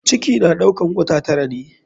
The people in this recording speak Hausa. Ciki na ɗaukar wata tara ne.